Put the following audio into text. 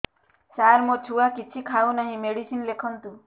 ସାର ମୋ ଛୁଆ କିଛି ଖାଉ ନାହିଁ ମେଡିସିନ ଲେଖନ୍ତୁ